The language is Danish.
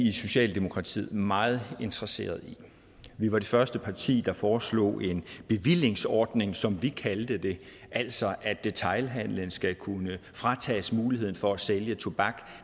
i socialdemokratiet meget interesseret i vi var det første parti der foreslog en bevillingsordning som vi kaldte det altså at detailhandlende skal kunne fratages muligheden for at sælge tobak